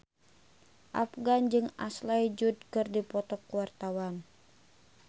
Afgan jeung Ashley Judd keur dipoto ku wartawan